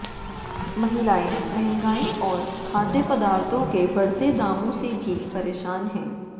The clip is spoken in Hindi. महिलाएं महंगाई और खाद्य पदार्थों के बढ़ते दामों से भी परेशान हैं